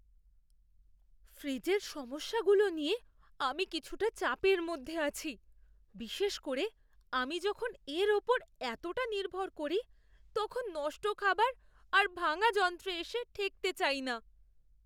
ফ্রিজের সমস্যাগুলো নিয়ে আমি কিছুটা চাপের মধ্যে আছি; বিশেষ করে আমি যখন এর ওপর এতোটা নির্ভর করি তখন নষ্ট খাবার আর ভাঙা যন্ত্রে এসে ঠেকতে চাই না!